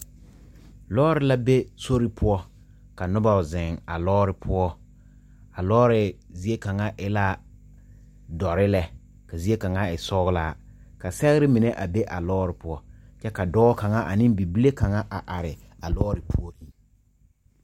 Loɔri la be sori poɔ ka nuba zen a loɔri puo a loɔri zeɛ kanga e la dɔri le ka zeɛ kanga e sɔglaa ka segrɛ mene a be a loɔri puo kye ka doɔ kanga ane bibile kanga a arẽ a loɔri puorin.